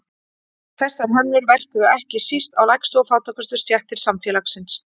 þessar hömlur verkuðu ekki síst á lægstu og fátækustu stéttir samfélagsins